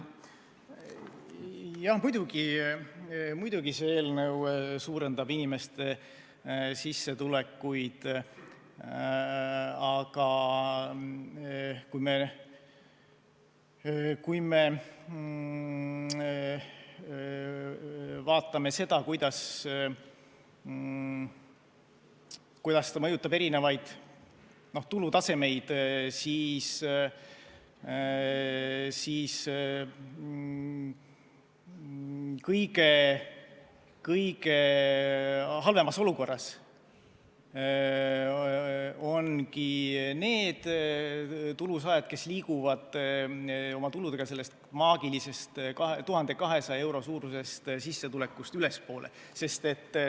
Muidugi, see eelnõu suurendab inimeste sissetulekuid, aga kui me vaatame seda, kuidas ta mõjutab erinevaid tulutasemeid, siis kõige halvemas olukorras ongi need tulusaajad, kes liiguvad oma tuludega sellest maagilise 1200 euro suurusest sissetulekust ülespoole.